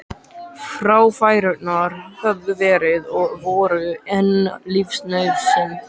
Fráfærurnar höfðu verið og voru enn lífsnauðsyn.